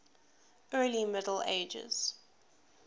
early middle ages